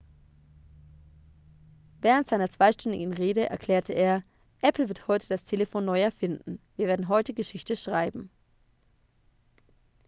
während seiner zweistündigen rede erklärte er apple wird heute das telefon neu erfinden wir werden heute geschichte schreiben